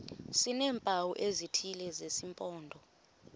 sineempawu ezithile zesimpondo